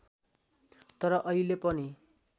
तर अहिले पनि